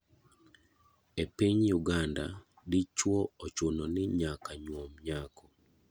E piny Uganda ,dichuo ochuno ni nyaka nyuom nyako.